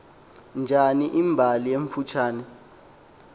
njani imbali emfutshane